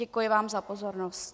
Děkuji vám za pozornost.